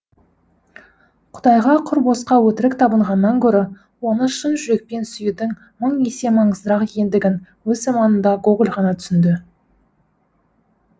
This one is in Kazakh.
құдайға құр босқа өтірік табынғаннан гөрі оны шын жүрекпен сүюдің мың есе маңыздырақ екендігін өз заманында гоголь ғана түсінді